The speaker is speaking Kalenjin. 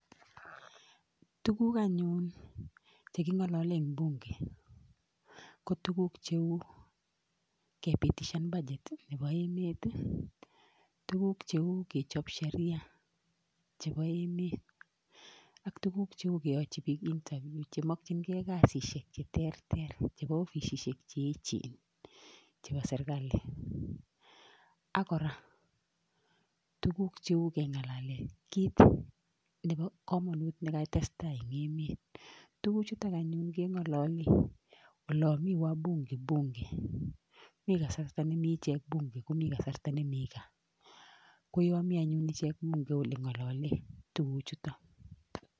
Tukuk anyun cheking'alole eng bunge, ko tukuk cheu kepitishan budget nebo emet, tukuk cheu kechop sheria chebo emet ak tukuk cheu keyochi biik interview chemakchingei kasisiek che terter chebo ofisisiek che echen chebo serkali. Ak kora tukuk cheu keng'alale kiit nebo komonut nekatestai eng emet. Tukuchutok anyun keng'alole olo mi wabunge bunge. MI kasarta ne mi ichek bunge komi kasarta ne mi gaa. Ko yo mi anyun bunge ole ng'olole tukuchutok.